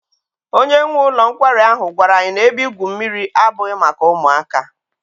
Onye nwe ụlọ nkwari ahụ gwara anyị na ebe igwu mmiri ahụ abụghị maka ụmụaka.